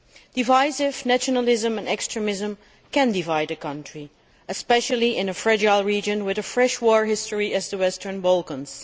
Divisive nationalism and extremism can divide a country, especially in a fragile region with a fresh war history such as the Western Balkans.